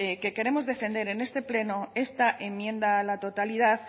que queremos defender en este pleno esta enmienda a la totalidad